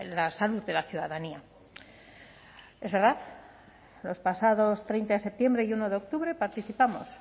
la salud de la ciudadanía es verdad los pasados treinta de septiembre y uno de octubre participamos